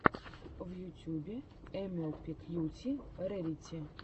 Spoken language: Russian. в ютюбе эмэлпи кьюти рэрити